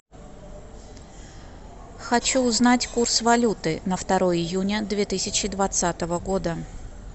хочу узнать курс валюты на второе июня две тысячи двадцатого года